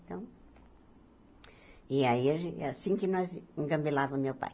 Então... E aí, a gen é assim que nós engabilava o meu pai.